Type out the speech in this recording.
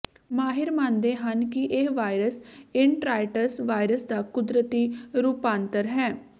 ਮਾਹਿਰ ਮੰਨਦੇ ਹਨ ਕਿ ਇਹ ਵਾਇਰਸ ਇਨਟਰਾਈਟਸ ਵਾਇਰਸ ਦਾ ਕੁਦਰਤੀ ਰੂਪਾਂਤਰ ਹੈ